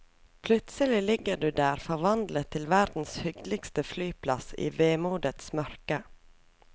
Plutselig ligger du der forvandlet til verdens hyggeligste flyplass i vemodets mørke.